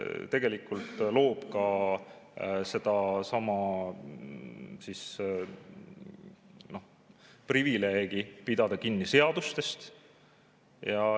Tegelikult loob ka sedasama privileegi pidada kinni seadustest.